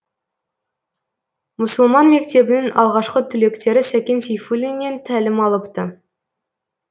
мұсылман мектебінің алғашқы түлектері сәкен сейфулиннен тәлім алыпты